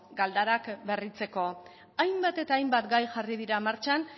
galdarak berritzeko hainbat eta hainbat gai jarri dira martxan